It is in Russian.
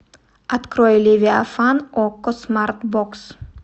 открой левиафан окко смарт бокс